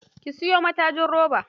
Kin siyo matajin robar?